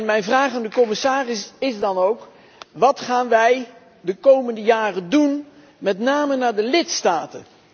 Mijn vraag aan de commissaris is dan ook wat gaan wij de komende jaren doen, met name naar de lidstaten?